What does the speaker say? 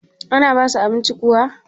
ana basu abinci kuwa?